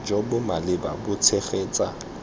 jo bo maleba bo tshegetsa